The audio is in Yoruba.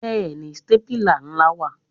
Bẹ́ẹ̀ni, stépìlà ńlá wà.